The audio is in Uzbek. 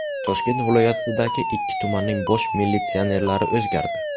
Toshkent viloyatidagi ikki tumanning bosh militsionerlari o‘zgardi.